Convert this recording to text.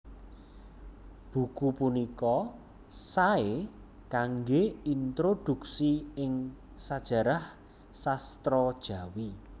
Buku punika saé kanggé introdhuksi ing sajarah sastra Jawi